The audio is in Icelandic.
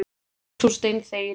En þú steinþegir yfir því.